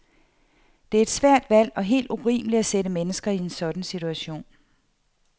Det er et svært valg og helt urimeligt at sætte mennesker i en sådan situation.